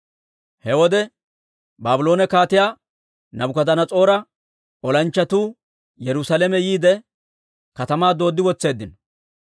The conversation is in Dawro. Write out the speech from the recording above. He wode Baabloone Kaatiyaa Naabukadanas'oora olanchchatuu Yerusaalame yiide, katamaa dooddi wotseeddino.